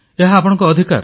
ଏହା ଆପଣଙ୍କ ଅଧିକାର